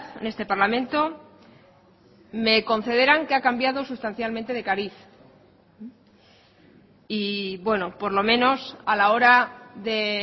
en este parlamento me concederán que ha cambiado sustancialmente de cariz y bueno por lo menos a la hora de